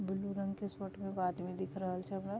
Blue रंग के shirt में एगो आदमी दिख रहल छै हमरा।